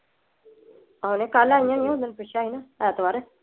ਆਹ ਕੱਲ ਆਉਣੀਆ ਨੇ ਮੈ ਪੁੱਛਿਆ ਸੀ ਐਤਵਾਰ।